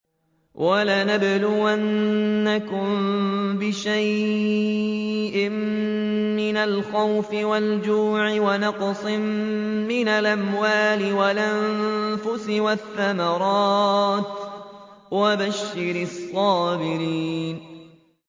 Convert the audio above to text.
وَلَنَبْلُوَنَّكُم بِشَيْءٍ مِّنَ الْخَوْفِ وَالْجُوعِ وَنَقْصٍ مِّنَ الْأَمْوَالِ وَالْأَنفُسِ وَالثَّمَرَاتِ ۗ وَبَشِّرِ الصَّابِرِينَ